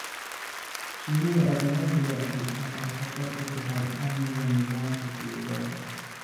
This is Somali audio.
Shinnida ajanabiga ahi waxay khatar ku tahay amniga nidaamka deegaanka.